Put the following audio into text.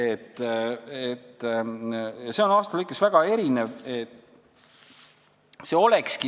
See kõik on aastate lõikes väga erinev olnud.